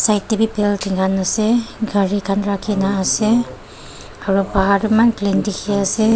yate bi building khan ase gari khan rakhina ase aro bahar toh eman clean dikhiase--